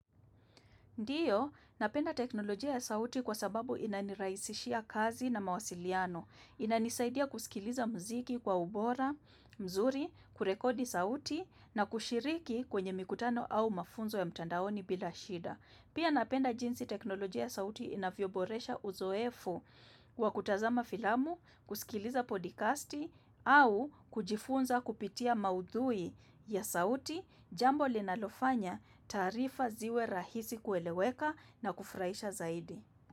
Ndiyo, napenda teknolojia ya sauti kwa sababu inanirahisishia kazi na mawasiliano, inanisaidia kusikiliza mziki kwa ubora mzuri, kurekodi sauti, na kushiriki kwenye mikutano au mafunzo ya mtandaoni bila shida. Pia napenda jinsi teknolojia ya sauti inavyoboresha uzoefu kwa kutazama filamu, kusikiliza podikasti au kujifunza kupitia maudhui ya sauti, jambo linalofanya taarifa ziwe rahisi kueleweka na kufurahisha zaidi.